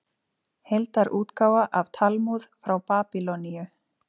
Heildarútgáfa af Talmúð frá Babýloníu.